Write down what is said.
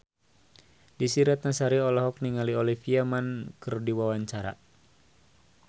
Desy Ratnasari olohok ningali Olivia Munn keur diwawancara